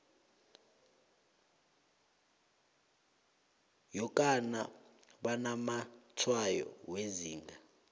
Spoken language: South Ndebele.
yokana banamatshwayo wezinga